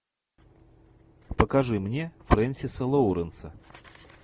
покажи мне фрэнсиса лоуренса